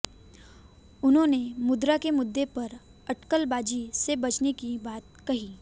उन्होंने मुद्रा के मुद्दे पर अटकलबाजी से बचने की बात कही